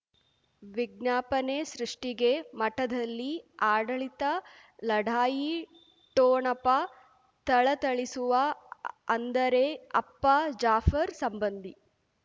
ವಿಜ್ಞಾಪನೆ ಸೃಷ್ಟಿಗೆ ಮಠದಲ್ಲಿ ಆಡಳಿತ ಲಢಾಯಿ ಠೋಣಪ ಥಳಥಳಿಸುವ ಅಂದರೆ ಅಪ್ಪ ಜಾಫರ್ ಸಂಬಂಧಿ